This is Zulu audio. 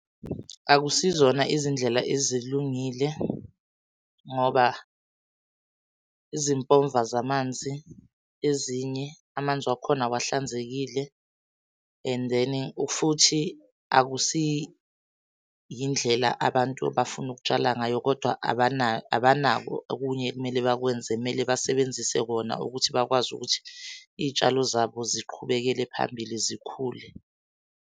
Akusizona izindlela ezilungile ngoba izimpomva zamanzi ezinye amanzi wakhona awahlanzekile. And then futhi akusiyindlela abantu abafuna ukutshala ngayo, kodwa abanako okunye ekumele bakwenze kumele basebenzise kona ukuthi bakwazi ukuthi iy'tshalo zabo ziqhubekele phambili zikhule.